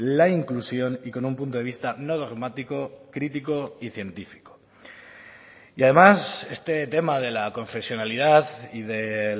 la inclusión y con un punto de vista no dogmático crítico y científico y además este tema de la confesionalidad y de